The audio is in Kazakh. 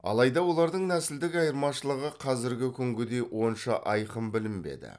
алайда олардың нәсілдік айырмашылығы қазіргі күнгідей онша айқын білінбеді